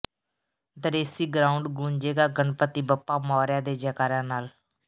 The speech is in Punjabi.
ਦਰੇਸੀ ਗਰਾਉਂਡ ਗੂੰਜੇਗਾ ਗਣਪਤੀ ਬੱਪਾ ਮੋਰਿਆ ਦੇ ਜੈਕਾਰਿਆਂ ਨਾਲ